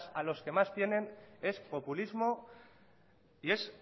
a los que más tienen es populismo y es